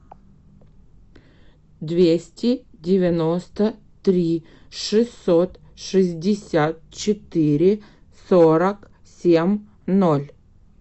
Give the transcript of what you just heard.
двести девяносто три шестьсот шестьдесят четыре сорок семь ноль